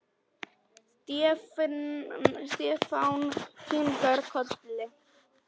Stefán kinkaði kolli.